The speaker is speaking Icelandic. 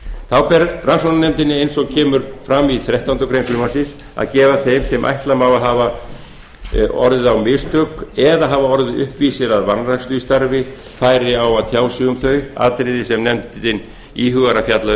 þá ber rannsóknarnefndinni eins og kemur fram í þrettándu greinar frumvarpsins að gefa þeim sem ætla má að hafi orðið á mistök eða hafa orðið uppvísir að vanrækslu í starfi færi á að tjá sig um þau atriði sem nefndin íhugar að fjalla